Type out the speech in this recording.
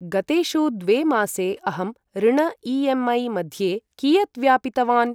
गतेषु द्वे मासे अहं ऋण ई.एम्.ऐ. मध्ये कियत् व्यापितवान्?